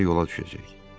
Səhər yola düşəcək.